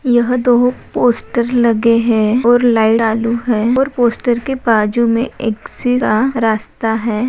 यह दो पोस्टर लगे हैं और लाइट चालू है और पोस्टर के बाजू में एक सीधा रास्ता है।